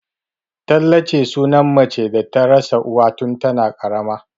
Tallace suna mace da ta rasa uwa tun tana ƙaramar